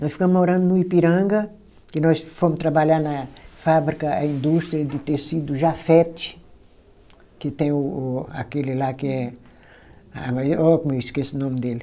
Nós ficamo morando no Ipiranga, que nós fomo trabalhar na fábrica, a indústria de tecido Jafet, que tem o o aquele lá que é. Ah mas ó como eu esqueço o nome dele.